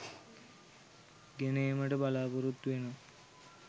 ගෙන ඒමට බලාපොරොතු වෙනවා.